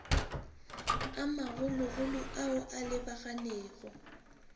a magologolo ao a lebaganego